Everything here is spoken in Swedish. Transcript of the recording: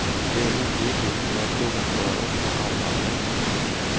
Det är orimligt och den frågan tar jag upp med alla länder.